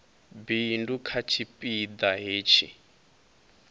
bindu kha tshipi ḓa hetshi